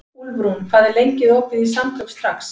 Úlfrún, hvað er lengi opið í Samkaup Strax?